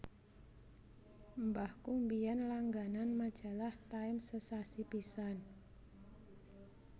Mbahku biyen langganan majalah Time sesasi pisan